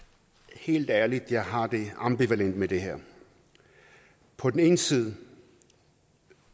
helt ærligt jeg har det ambivalent med det her på den ene side